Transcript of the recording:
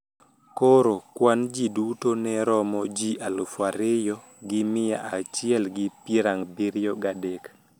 Koro kwan ji duto ne romo ji alufu ariyo gi mia achiel gi piero abiriyo gadek.